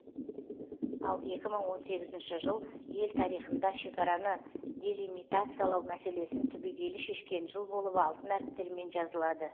ал екі мың он сегізінші жыл ел тарихында шекараны делимитациялау мәселесін түбегейлі шешкен жыл болып алтын әріптермен жазылады